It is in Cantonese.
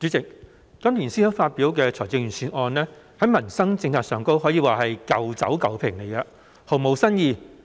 主席，今年財政司司長發表的財政預算案在民生政策方面可說是"舊酒舊瓶"，毫無新意。